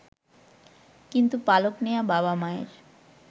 কিন্তু পালক নেয়া বাবা-মায়ের